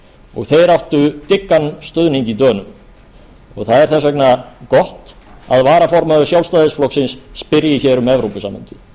og þeir áttu dyggan stuðning í dönum það er þess vegna gott að varaformaður sjálfstæðisflokksins spyrji hér um evrópusambandið